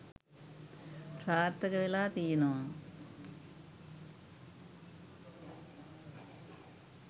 සාර්ථක වෙලා තියෙනවා